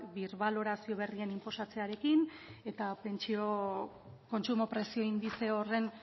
birbalorazio berrien inposatzearekin eta pentsio kontsumo prezio indize horren